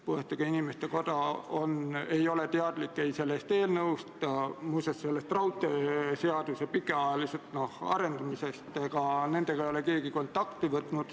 Keeletoimetaja soovitusel tegi riigikaitsekomisjon eelnõu punktis 1 mõned keelelised täpsustused: jäeti välja sõna "sätestatu", mille tulemusena muutus sõnade järjekord ja sõna "peatüki" käändelõpp.